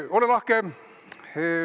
Ole lahke!